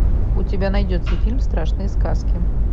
у тебя найдется фильм страшные сказки